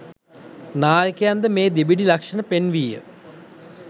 නායකයන්ද මේ දෙබිඩි ලක්‍ෂණ පෙන්විය